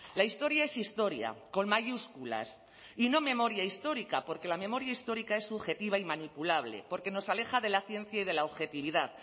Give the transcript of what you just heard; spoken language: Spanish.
la historia es historia con mayúsculas y no memoria histórica porque la memoria histórica es subjetiva y manipulable porque nos aleja de la ciencia y de la objetividad